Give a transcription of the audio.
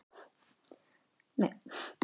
Hvað það hefði átt við okkur að fara saman.